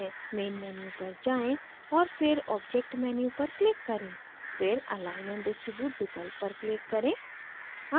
main menu पर जाएँ और फिर object menu पर click करें फिर align and distribute विकल्प पर click करें